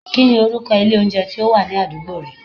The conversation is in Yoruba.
Kí ni orúkọ ilé oúnjẹ tí ó wà ní àdúgbò rẹ?